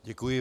Děkuji.